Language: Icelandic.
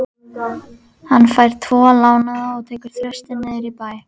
Hann fær tvo lánaða og tekur Þristinn niður í bæ.